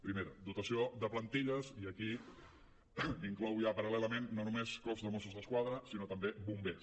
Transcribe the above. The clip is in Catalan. primera dotació de plantilles i aquí inclou ja paral·lelament no només cos de mossos d’esquadra sinó també bombers